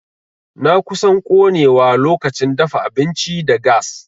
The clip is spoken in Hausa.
Na kusan konewa lokacin dafa abinci da gas.